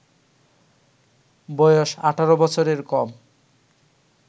বয়স ১৮ বছরের কম